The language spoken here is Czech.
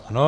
Ano.